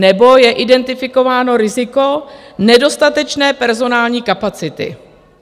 Nebo je identifikováno riziko nedostatečné personální kapacity.